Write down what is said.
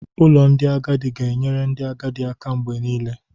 Ụlọ ndị agadi ga-enyere ndị agadi aka mgbe niile.